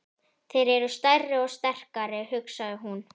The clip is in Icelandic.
Þeir eru stærri og sterkari, hugsaði hún.